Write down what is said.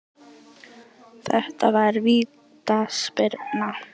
Þetta var vítaspyrna